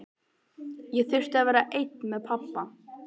Ég þurfti að vera einn með pabba.